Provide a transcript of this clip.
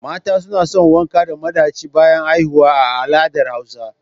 Mata suna wanka da madachi bayan haihuwa a al'adar hausa.